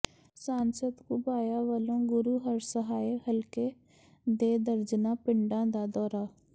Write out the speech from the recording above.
ਸਾਂਸਦ ਘੁਬਾਇਆ ਵਲੋਂ ਗੁਰੂਹਰਸਹਾਏ ਹਲਕੇ ਦੇ ਦਰਜਨਾਂ ਪਿੰਡਾਂ ਦਾ ਦੌਰਾ